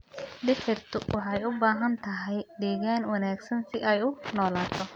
Dhirtu waxay u baahan tahay deegaan wanaagsan si ay u noolaato.